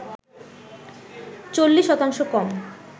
৪০ শতাংশ কম